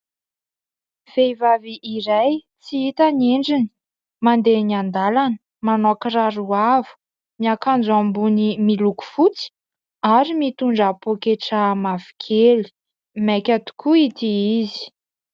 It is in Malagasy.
Vehivavy iray tsy hita ny endriny, mandeha eny an-dalana, manao kiraro avo, miakanjo ambony miloko fotsy ary mitondra poketra mavokely maika tokoa ity izy.